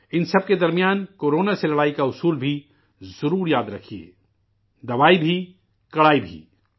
ان سب کےدرمیان ، corona سے لڑائی کا منتر بھی ضرور یاد رکھیئے 'دوائی بھی کڑائی بھی'